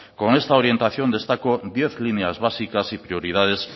con esta orientación destaco diez líneas básicas y prioridades